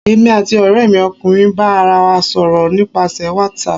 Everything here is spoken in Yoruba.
èmí atí oremi ọkunrin ba ará wa sọrọ nipasẹ watsap.